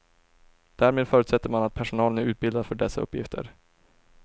Därmed förutsätter man att personalen är utbildad för dessa uppgifter.